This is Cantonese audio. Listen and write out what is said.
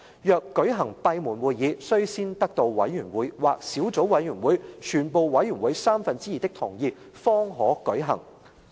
若舉行閉門會議，須先得到委員會或小組委員會全部委員三分之二的同意方可舉行"。